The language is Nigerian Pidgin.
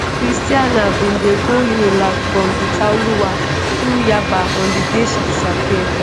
christianah bin dey go unilag from itaoluwa through yaba on di day she disappear.